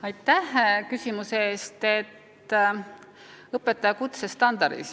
Aitäh küsimuse eest!